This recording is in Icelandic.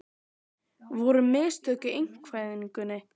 Voru mistök í einkavæðingunni?